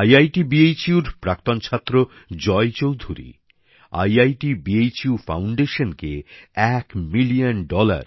IIT Banaras Hindu বিশ্ববিদ্যালয়ের প্রাক্তন ছাত্র জয় চৌধুরী আইআইটি বেনারস হিন্দু বিশ্ববিদ্যালয়ের ফাউন্ডেশনকে এক মিলিয়ন ডলার